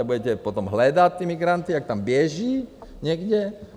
A budete potom hledat ty migranty, jak tam běží někde?